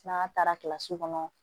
N'an taara kilasi kɔnɔ